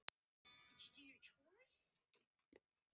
Reiðin í augnaráði hans frystir mig, nístir hverja frumu.